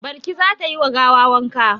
Balki za ta yi wa gawa wanka.